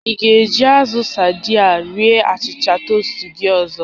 Ị ga-eji azụ sadii a rie achịcha toast gị oge ọzọ